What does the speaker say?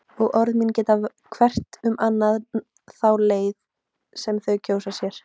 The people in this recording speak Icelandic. Og orð mín geta velst hvert um annað þá leið sem þau kjósa sér.